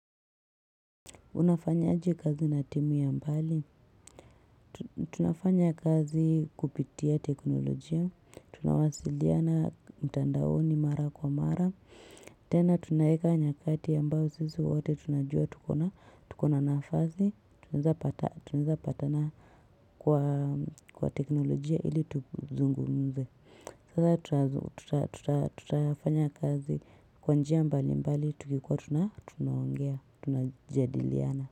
Unafanyaje kazi na timu ya mbali. Tunafanya kazi kupitia teknolojia. Tunawasiliana mtandaoni mara kwa mara. Tena tunaweka nyakati ambazo sisi wote tunajua tuko na nafasi unaweza pata Tunaweza patana kwa teknolojia ili tuzungumze Sasa tutafanya kazi kwa njia mbalimbali. Tukikuwa tunaongea tunajadiliana.